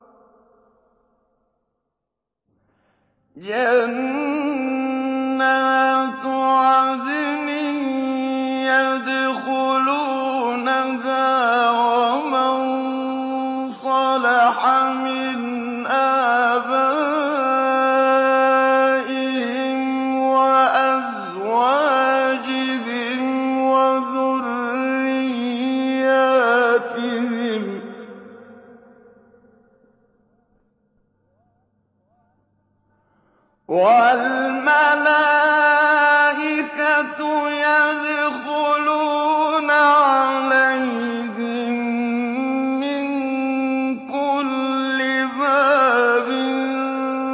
جَنَّاتُ عَدْنٍ يَدْخُلُونَهَا وَمَن صَلَحَ مِنْ آبَائِهِمْ وَأَزْوَاجِهِمْ وَذُرِّيَّاتِهِمْ ۖ وَالْمَلَائِكَةُ يَدْخُلُونَ عَلَيْهِم مِّن كُلِّ بَابٍ